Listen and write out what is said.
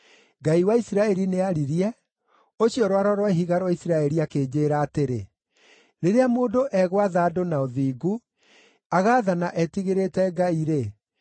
Ngai wa Isiraeli nĩaririe, ũcio Rwaro rwa Ihiga rwa Isiraeli akĩnjĩĩra atĩrĩ: ‘Rĩrĩa mũndũ egwatha andũ na ũthingu, agaathana etigĩrĩte Ngai-rĩ,